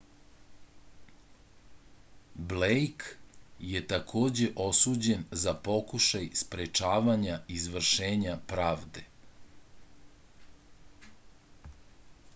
blejk je takođe osuđen za pokušaj sprečavanja izvršenja pravde